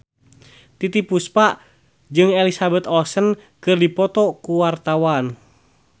Titiek Puspa jeung Elizabeth Olsen keur dipoto ku wartawan